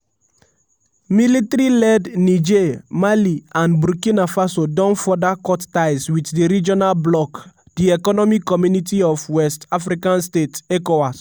military led niger mali and burkina faso don further cut ties with di regional bloc di economic community of west um african states (ecowas).